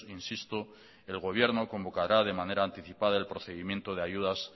insisto el gobierno convocará de manera anticipada el procedimiento de ayudas